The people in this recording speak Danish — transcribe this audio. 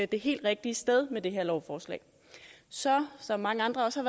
det helt rigtige sted med det her lovforslag så som mange andre ser